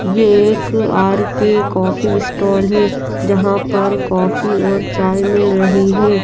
ये एक R K coffee stall है जहा पर कॉफ़ी और चाय मिल रही है।